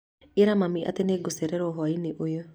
Ĩra mami atĩ nĩ nĩngũcererwo hwaĩinĩ ũyũ